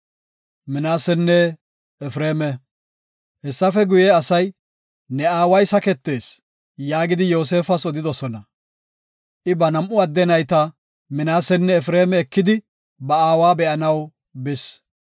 Hessafe guye asay, “Ne aaway saketees” yaagidi Yoosefas odidosona. I ba nam7u adde nayta Minaasenne Efreema ekidi ba aawa be7anaw bis.